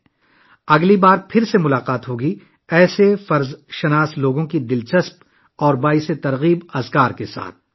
ہم اگلی بار ایسے ہی سرشار لوگوں کی دلچسپ اور متاثر کن کہانیوں کے ساتھ پھر ملیں